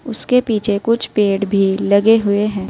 उसके पीछे कुछ पेड़ भी लगे हुए हैं।